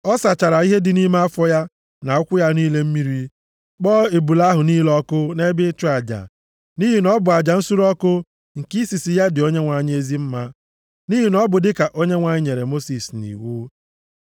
Ọ sachara ihe dị nʼime afọ ya na ụkwụ ya niile mmiri, kpọọ ebule ahụ niile ọkụ nʼebe ịchụ aja. Nʼihi na ọ bụ aja nsure ọkụ nke isisi ya dị Onyenwe anyị ezi mma, nʼihi na ọ bụ dịka Onyenwe anyị nyere Mosis nʼiwu.